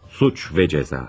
Suç və Cəza.